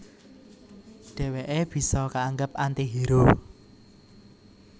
Dhèwèké bisa kaanggep anti hero